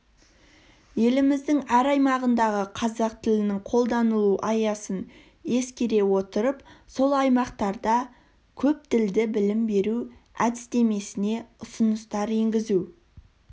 еліміздің әр аймағындағы қазақ тілінің қолданылу аясын ескере отырып сол аймақтарда көптілді білім беру әдістемесіне ұсыныстар енгізу